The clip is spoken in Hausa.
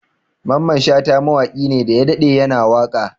Mamman Shata mawaƙi ne daya daɗe ya na waƙa